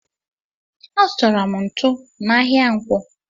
Azutara m ntụ n'ahia ǹkwọ.